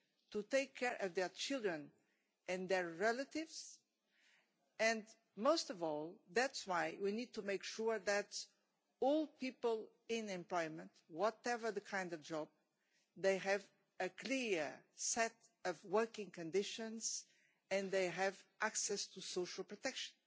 to take care of their children and their relatives, and most of all, that is why we need to make sure that all people in employment, whatever their kind of job, they have a clear set of working conditions and they have access to social protection.